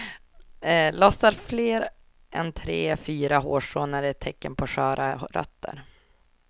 Lossnar fler än tre, fyra hårstrån är det ett tecken på sköra rötter.